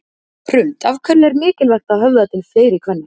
Hrund: Af hverju er mikilvægt að höfða til fleiri kvenna?